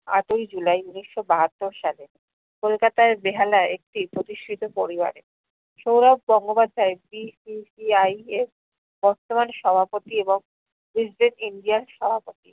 আটয় july উনিশশো বাহাত্তর সালে, কলকাতার বেহালাই একটি প্রতিষ্ঠিত পরিবারে। সৌরভ গঙ্গোপাধ্যায় BCCI এর বর্তমান সভাপতি এবং india এর সভাপতি